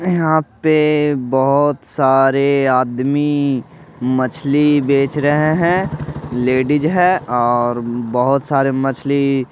यहाँ पे बहुत सारे आदमी मछली बेच रहे हैं लेडीज है और बहुत सारे मछली --